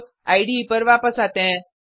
अब इडे पर वापस आते हैं